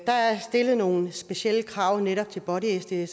der er stillet nogle specielle krav til netop body sdsere